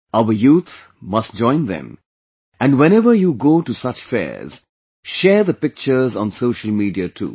Our youth must join them and whenever you go to such fairs, share the pictures on social media too